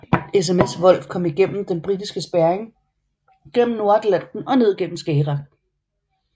SMS Wolf kom igennem den britiske spærring gennem Nordatlanten og ned gennem Skagerrak